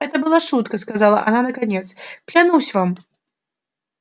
это была шутка сказала она наконец клянусь вам